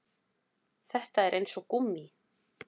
Þetta er eins og gúmmí